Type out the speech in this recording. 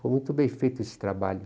Foi muito bem feito esse trabalho.